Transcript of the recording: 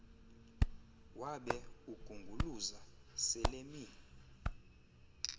wabe ugunguluza selemi